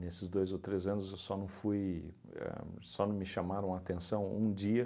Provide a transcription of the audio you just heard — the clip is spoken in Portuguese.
Nesses dois ou três anos, eu só não fui, ahn só não me chamaram atenção um dia.